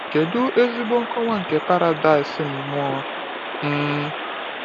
Kedu ezigbo nkọwa nke paradaịs mmụọ! um